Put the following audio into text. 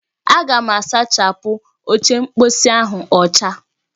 Aga m asachapụ oche mposi ahụ ọcha